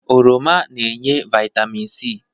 Oroma na-enye Vaitamịn si